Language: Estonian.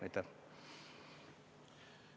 Aitäh!